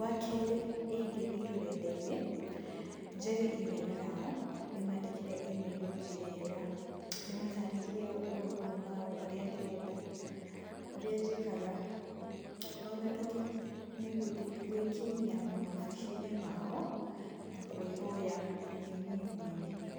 Wakerĩ ingĩthiĩ rũrenda-inĩ, njarie imĩrũ yao, ndĩmandĩkĩre imĩrũ njeega, ndĩmatarĩrie ũũ na ũũ na ũũ, ũrĩa ndĩrenda, ũrĩa njĩkaga. Wagatatũ nĩ gũthiĩ gwĩkinyia maobici-inĩ mao na kwĩhoya ndĩ niĩ mwene.